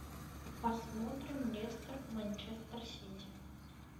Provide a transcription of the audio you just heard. посмотрим лестер манчестер сити